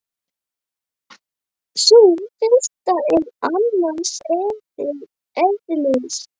Sú fyrsta er annars eðlis.